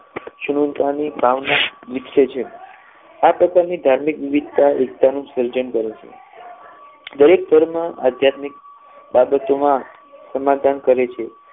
સમાનતાની ભાવના વિકસે છે આ પ્રકારની ધાર્મિક વિવિધતાઓ એકતા નું સર્જન કરે છે દરેક ધર્મ ધાર્મિક બાબતોમાં સમાધાન કરે છે